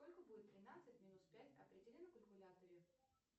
сколько будет тринадцать минус пять определи на калькуляторе